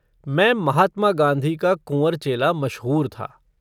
मैं महात्मा गांधी का कुँवर चेला मशहूर था।